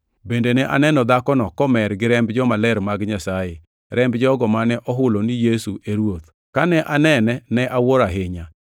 Bende ne aneno dhakono komer gi remb jomaler mag Nyasaye, remb jogo mane ohulo ni Yesu e Ruoth. Kane anene ne awuoro ahinya.